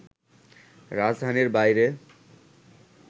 রাজধানীর বাইরে